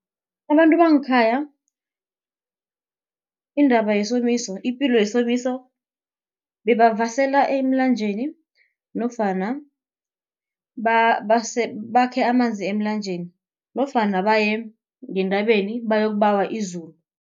Abantu bangekhaya indaba yesomiso, ipilo yesomiso bebavasela emlanjeni nofana bakhe amanzi emlanjeni, nofana baye ngentabeni bayokubawa izulu.